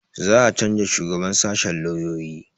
Za a canza shugaban sashen lauyoyi